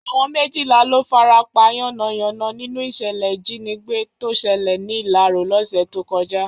Àwọn méjìlá ló farapa yánnayànna nínú ìṣẹ̀lẹ̀ ìjínigbé tó ṣẹlẹ̀ ní Ìlarò lọ́sẹ̀ tó kọjá